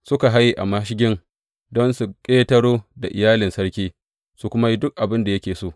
Suka haye a mashigin don su ƙetaro da iyalin sarki, su kuma yi duk abin da yake so.